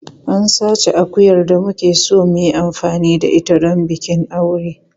An sace akuyar da muke so mu yi amfani da ita don bikin aure.